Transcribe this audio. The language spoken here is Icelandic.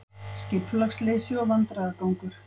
Skipulagsleysi og vandræðagangur